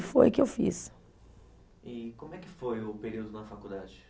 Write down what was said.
Foi o que eu fiz. E como é que foi o período na faculdade?